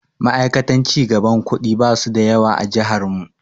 Ma'aikatan cigaban kuɗi basu da yawa a jihar mu.